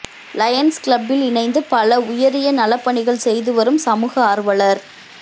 Lions கிளப்பில் இணைந்து பல உயரிய நலப்பணிகள் செய்து வரும் சமூக ஆர்வலர்